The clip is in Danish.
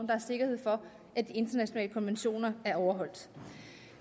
der er sikkerhed for at de internationale konventioner er overholdt